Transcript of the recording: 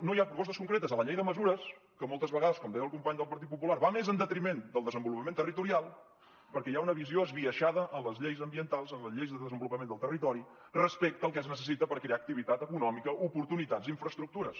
no hi ha propostes concretes a la llei de mesures que moltes vegades com deia el company del partit popular va més en detriment del desenvolupament territorial perquè hi ha una visió esbiaixada en les lleis ambientals en les lleis de desenvolupament del territori respecte al que es necessita per crear activitat econòmica oportunitats i infraestructures